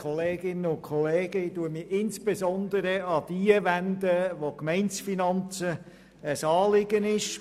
Ich wende mich insbesondere an jene, denen die Gemeindefinanzen ein Anliegen ist.